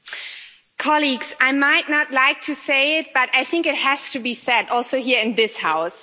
Mr President, I might not like to say it, but I think it has to be said also here in this House.